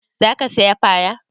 Za ka saya fara?